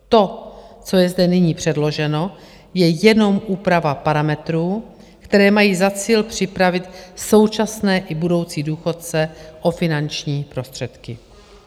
To, co je zde nyní předloženo, je jenom úprava parametrů, které mají za cíl připravit současné i budoucí důchodce o finanční prostředky.